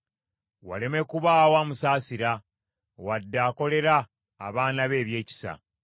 Waleme kubaawo amusaasira, wadde akolera abaana be ebyekisa.